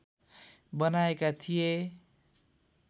बनाएका थिए